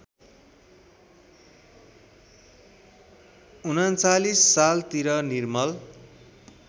०३९ सालतिर निर्मल